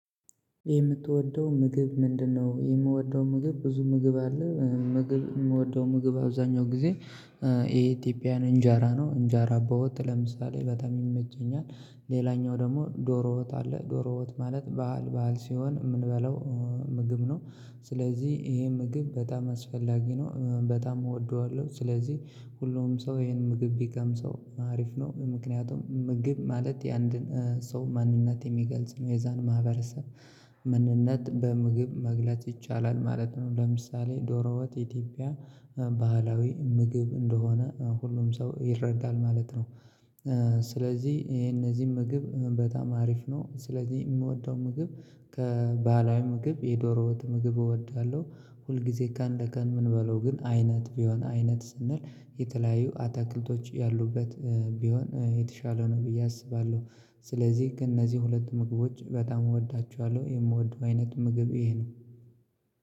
የምትወደው ምግብ ምንድነው? የምወደው ምግብ ብዙ ምግብ አለ። ምግብ ምወደው ምግብ አብዛኛው ጊዜ የኢትዮጵያውያን እንጀራ ነው። እንጀራ በወጥ ለምሳሌ በጣም ይመቸኛል። ሌላኛው ደግሞ ዶሮ ወጥ አለ። ዶሮ ወጥ ማለት ባህል ባህል ሲሆን ምንበለው ምግብ ነው። ስለዚህ ይሄ ምግብ በጣም አስፈላጊ ነው። በጣም እወደዋለሁ። ስለዚህ ሁሉም ሰው ይሄን ምግብ ቢቀምሰው አሪፍ ነው። ምክንያቱም ምግብ ማለት የአንድን ሰው ማንነት የሚገልጽ ነው። የዛን ማህበረሰብ ማንነት በምግብ መግለጽ ይቻላል ማለት ነው። ለምሳሌ ዶሮወጥ ኢትዮጵያ ባህላዊ ምግብ እንደሆነ ሁሉም ሰው ይረዳል ማለት ነው። ስለዚህ ይሄ እነዚህ ምግብ በጣም አሪፍ ነው። ስለዚህ የምወደው ምግብ ከባህላዊ ምግብ የዶሮ ወጥ ምግብ እወዳለሁ። ሁል ጊዜ ቀንለቀን ምንበላው ግን አይነት ቢሆን አይነት ስንል የተለያዩ አታክልቶች ያሉበት ቢሆን የተሻለ ነው ብዬ አስባለሁ። ስለዚህ ከነዚህ ሁለት ምግቦች በጣም እወዳቸዋለሁ። የምወደው አይነት ምግብ ይሄ ነው።